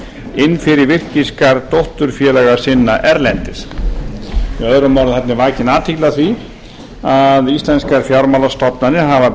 inn fyrir virkisgarð dótturfélaga sinna erlendis með öðrum orðum þarna er vakin athygli á því að íslenskar fjármálastofnanir hafa